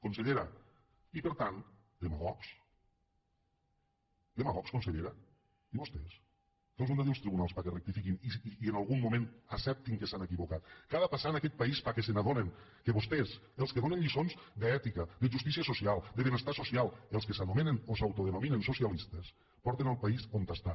consellera i per tant demagogs demagogs consellera i vostès que els han de dir els tribunals perquè rectifiquin i en algun moment acceptin que s’han equivocat què ha de passar en aquest país perquè s’adonin que vostès els que donen lliçons d’ètica de justícia social de benestar social els que s’anomenen o s’autodenominen socialistes porten el país on està